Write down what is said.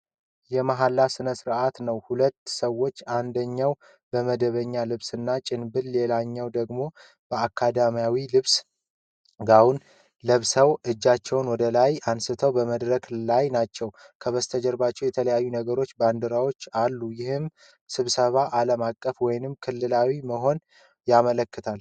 የመሐላ ሥነ-ሥርዓት ነው። ሁለቱ ሰዎች፣ አንደኛው በመደበኛ ልብስና ጭንብል ሌላኛው ደግሞ በአካዳሚያዊ ልብስ (ጋውን) ለብሳ እጃቸውን ወደ ላይ አንስተው በመድረክ ላይ ናቸው። ከበስተጀርባ የተለያዩ አገሮች ባንዲራዎች አሉ፤ ይህም ስብሰባው ዓለም አቀፍ ወይም ክልላዊ መሆኑን ያመለክታል።